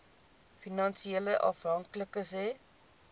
finansiële afhanklikes hê